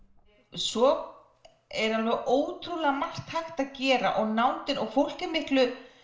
svo er alveg ótrúlega mergt hægt að gera og og fólk er miklu